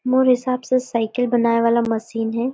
मोर हिसाब से साइकिल बनाए वाला मशीन हे।